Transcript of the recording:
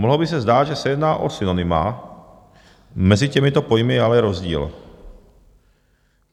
Mohlo by se zdát, že se jedná o synonyma, mezi těmito pojmy je ale rozdíl.